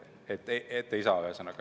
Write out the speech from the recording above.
Ei saa ühesõnaga.